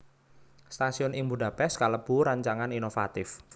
Stasiun ing Budapest kalebu rancangan inovatif